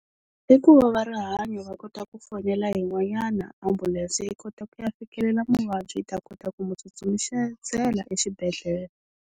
I ku va varihanyo va kota ku fonela yin'wanyana ambulense yi kota ku ya fikelela muvabyi yi ta kota ku n'wi tsutsumisela exibedhlele.